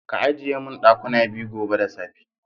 Ka ajiye min dakuna biyu gobe da safe.